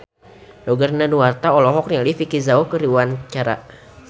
Roger Danuarta olohok ningali Vicki Zao keur diwawancara